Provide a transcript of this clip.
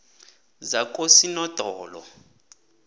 zakosinodolo